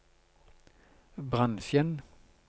bransjen